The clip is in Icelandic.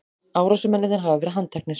Árásarmennirnir hafa verið handteknir